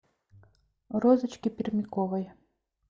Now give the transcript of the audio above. розочки пермяковой